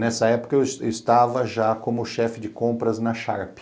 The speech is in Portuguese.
Nessa época eu estava eu estava já como chefe de compras na Sharpe.